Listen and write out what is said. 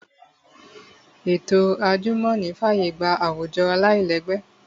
Ètò àjùmọ̀ní fàyè gba àwùjọ aláìlẹ́gbẹ́